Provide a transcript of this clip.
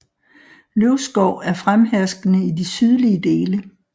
Løvskov er fremherskende i de sydlige dele